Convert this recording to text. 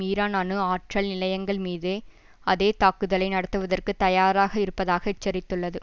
ஈரானின் அணு ஆற்றல் நிலையங்கள் மீது அதே தாக்குதலை நடத்துவதற்கு தயாராக இருப்பதாக எச்சரித்துள்ளது